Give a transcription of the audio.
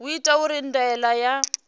u itwa uri ndaela ya